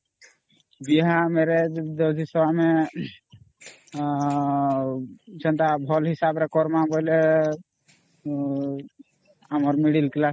ବିହାmarriage ଅମ୍ଆ ଉ ଯେନ୍ତା ଭଲ ହିସାବnରେ କରମା ବୋଇଲେ ଆମର middle Class ରେ